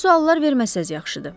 Belə suallar verməsəz yaxşıdır.